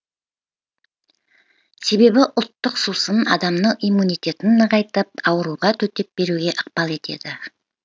себебі ұлттық сусын адамның иммунитетін нығайтып ауруға төтеп беруге ықпал етеді